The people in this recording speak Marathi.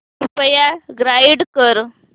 कृपया गाईड कर